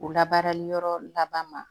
O labaarali yɔrɔ laban ma